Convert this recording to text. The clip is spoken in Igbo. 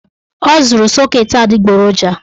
Ọ zụrụ sọket adịgboroja